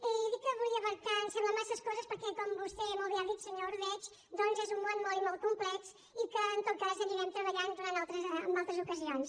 i dic que volia abraçar em sembla massa coses perquè com vostè molt bé ha dit senyor ordeig doncs és un món molt i molt complex i que en tot cas anirem treballant en altres ocasions